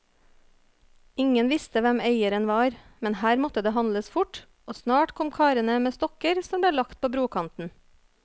Ingen visste hvem eieren var, men her måtte det handles fort, og snart kom karene med stokker som ble lagt på brokanten.